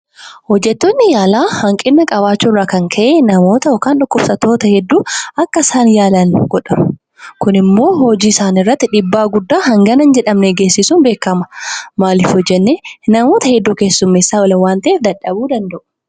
Hojjettoonni yaalaa hanqina qabaachuu irraan kan ka'e namoota yookaan dhukkubsattoota hedduu akka isaan yaala hin godhanne. Kun immoo hojii isaanii irratti dhiibaa guddaa hangana hin jedhamne geessisuun beekama. Maaliif yoo jennee, namoota hedduu keessumeessaa oolu waan ta'eef dadhabuu danda'u.